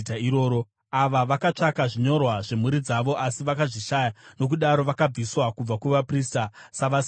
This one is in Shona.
Ava vakatsvaka zvinyorwa zvemhuri dzavo, asi vakazvishaya nokudaro vakabviswa kubva kuvaprista, savasina kuchena.